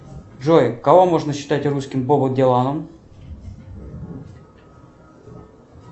джой кого можно считать русским бобом диланом